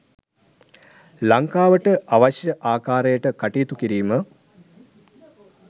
ලංකාවට අවශ්‍ය ආකාරයට කටයුතු කිරීම.